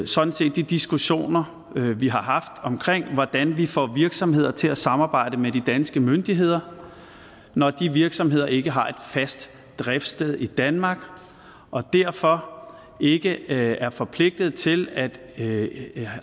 sådan set de diskussioner vi har haft om hvordan vi får virksomheder til at samarbejde med de danske myndigheder når de virksomheder ikke har et fast driftssted i danmark og derfor ikke er forpligtet til at at